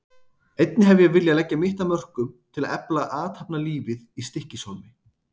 Einnig hef ég viljað leggja mitt af mörkum til að efla athafnalífið í Stykkishólmi.